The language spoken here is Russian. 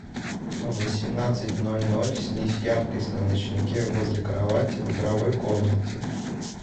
в восемнадцать ноль ноль снизь яркость на ночнике возле кровати в игровой комнате